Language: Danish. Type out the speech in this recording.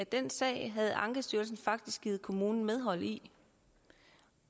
den sag havde ankestyrelsen faktisk givet kommunen medhold i